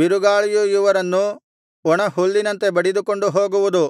ಬಿರುಗಾಳಿಯು ಇವರನ್ನು ಒಣಹುಲ್ಲಿನಂತೆ ಬಡಿದುಕೊಂಡು ಹೋಗುವುದು